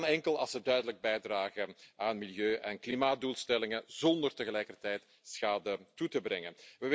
En dat kan enkel als we duidelijk bijdragen aan milieu en klimaatdoelstellingen zonder tegelijkertijd schade toe te brengen.